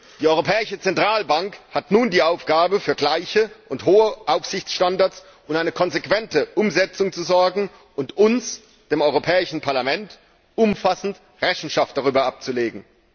Die Europäische Zentralbank hat nun die Aufgabe, für gleiche und hohe Aufsichtsstandards und eine konsequente Umsetzung zu sorgen und uns, dem Europäischen Parlament, umfassend Rechenschaft darüber abzulegen.